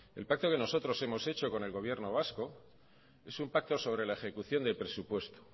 el pacto que nosotros hemos hecho con el gobierno vasco es un pacto sobre la ejecución del presupuesto